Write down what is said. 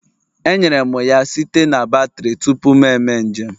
Enyere m ya site na batrị tupu m eme njem